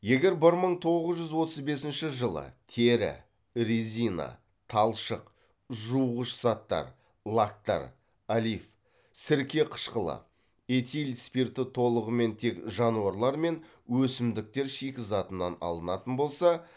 егер бір мың тоғыз жүз отыз бесінші жылы тері резина талшық жуғыш заттар лактар олиф сірке қышқылы этил спирті толығымен тек жануарлар мен өсімдіктер шикізатынан алынатын болса